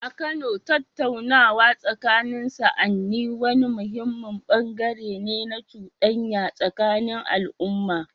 A Kano, tattaunawa tsakanin sa'anni wani muhimmin bangare ne na cudanya tsakanin al’umma.